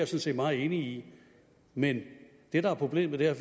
set meget enig i men det der er problemet er at